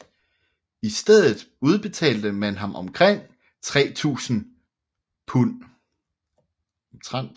I stedet udbetalte man ham omtrent 3000 pund